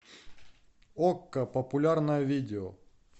окко популярное видео